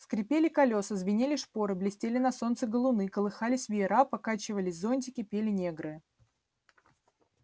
скрипели колеса звенели шпоры блестели на солнце галуны колыхались веера покачивались зонтики пели негры